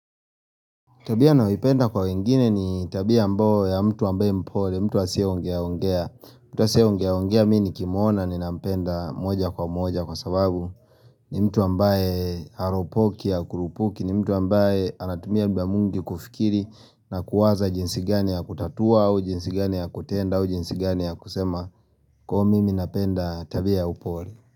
Tabia nayoipenda kwa wengine ni tabia ambayo ya mtu ambaye mpole, mtu asiyeongea ongea, mtu asiyeongea ongea mi nikimuona ninampenda moja kwa moja kwa sababu ni mtu ambaye haropoki hakurupuki, ni mtu ambaye anatumia muda mwingi kufikiri na kuwaza jinsi gani ya kutatua au jinsi gani ya kutenda au jinsi gani ya kusema kwa hivo mimi napenda tabia ya upole.